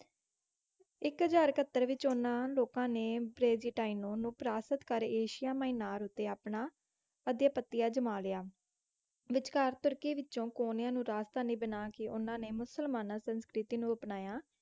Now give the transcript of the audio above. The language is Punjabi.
ਇੱਕ ਹਜ਼ਾਰ ਇਕੱਹਤਰ ਵਿੱਚ ਉਹਨਾਂ ਲੋਕਾਂ ਨੇ ਬਿਜੇਂਟਾਇਨੋਂ ਨੂੰ ਪਰਾਸਤ ਕਰ ਏਸ਼ੀਆ ਮਾਇਨਰ ਉੱਤੇ ਆਪਣਾ ਆਧਿਪਤਿਅ ਜਮਾਂ ਲਿਆ। ਵਿਚਕਾਰ ਤੁਰਕੀ ਵਿੱਚੋਂ ਕੋਂਨਿਆ ਨੂੰ ਰਾਜਧਾਨੀ ਬਣਾ ਕੇ ਉਨ੍ਹਾਂ ਨੇ ਮੁਸਲਮਾਨਾਂ ਸੰਸਕ੍ਰਿਤੀ ਨੂੰ ਅਪਣਾਇਆ।